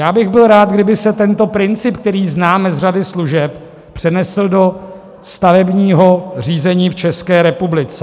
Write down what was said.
Já bych byl rád, kdyby se tento princip, který známe z řady služeb, přenesl do stavebního řízení v České republice.